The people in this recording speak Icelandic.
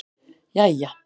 jæja